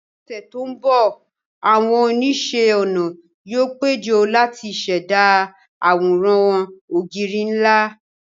Ní ọ̀sẹ̀ tó ń bọ̀, àwọn oníṣẹ́-ọnà yóò péjọ láti ṣẹ̀dá àwòrán ògiri ńlá